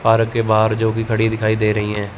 Park के बाहर जो भी खड़ी दिखाई दे रही है।